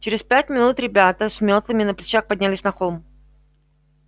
через пять минут ребята с мётлами на плечах поднялись на холм